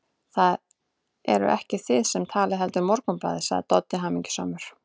Það eruð ekki þið sem talið, heldur Morgunblaðið, sagði Doddi hamingjusamur.